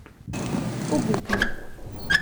Obupno.